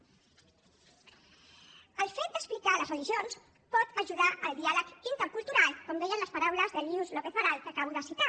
el fet d’explicar les religions pot ajudar al diàleg intercultural com deien les paraules de luce lópez baralt que acabo de citar